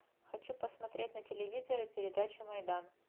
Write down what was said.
хочу посмотреть на телевизоре передачу майдан